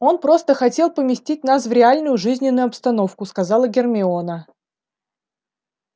он просто хотел поместить нас в реальную жизненную обстановку сказала гермиона